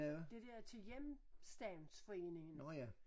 Det der til hjemstavnsforeningen